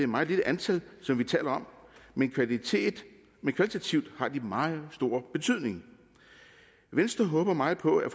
meget lille antal som vi taler om men kvalitativt men kvalitativt har de meget stor betydning venstre håber meget på at